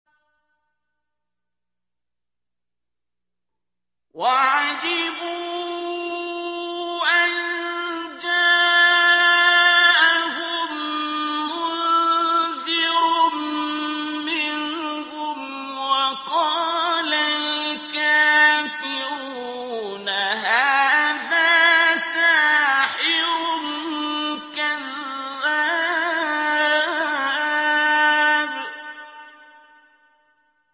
وَعَجِبُوا أَن جَاءَهُم مُّنذِرٌ مِّنْهُمْ ۖ وَقَالَ الْكَافِرُونَ هَٰذَا سَاحِرٌ كَذَّابٌ